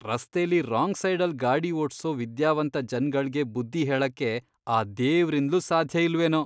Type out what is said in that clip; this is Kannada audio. ರಸ್ತೆಲಿ ರಾಂಗ್ ಸೈಡಲ್ ಗಾಡಿ ಓಡ್ಸೋ ವಿದ್ಯಾವಂತ ಜನ್ಗಳ್ಗೆ ಬುದ್ಧಿ ಹೇಳಕ್ಕೆ ಆ ದೇವ್ರಿಂದ್ಲೂ ಸಾಧ್ಯ ಇಲ್ವೇನೋ.